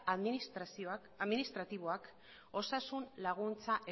administratiboak osasun laguntza